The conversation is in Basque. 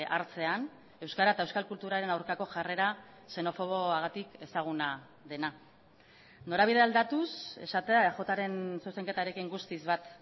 hartzean euskara eta euskal kulturaren aurkako jarrera xenofoboagatik ezaguna dena norabide aldatuz esatea eajren zuzenketarekin guztiz bat